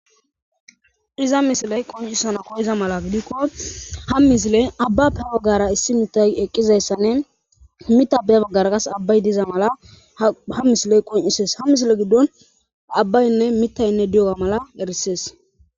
diza misiley qoncisana koyeza mala gidikko ha misile abbape waggara issi mita eqqizayssanne mitabey baggara kas abbay diza mala ha misiley qoncises ha misile giddon a abbaynne mitaynne diyoga mala erissees